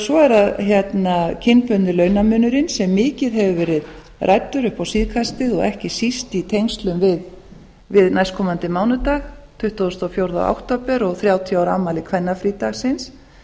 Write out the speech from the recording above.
svo er það kynbundinn launamunurinn sem mikið hefur verið ræddur upp á síðkastið og ekki síst í tengslum við næstkomandi mánudag tuttugasta og fjórða október og þrjátíu ára afmæli kvennafrídagsins